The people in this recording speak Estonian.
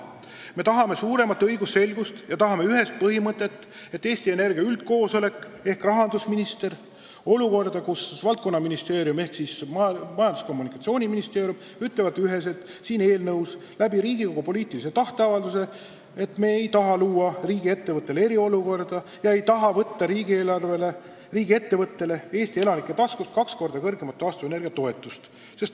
Me tahame suuremat õigusselgust ja tahame, et Eesti Energia üldkoosolek ehk rahandusminister ning valdkonnaministeerium ehk siis Majandus- ja Kommunikatsiooniministeerium üheselt kinnitaks siin eelnõus ja ka Riigikogu poliitiline tahteavaldus oleks, et me ei soovi luua riigiettevõttele eriolukorda, ei soovi võtta riigiettevõttele Eesti elanike taskust kaks korda suuremat taastuvenergia toetust.